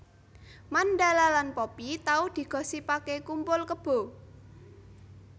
Mandala lan Poppy tau digosipake kumpul kebo